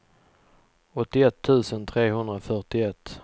åttioett tusen trehundrafyrtioett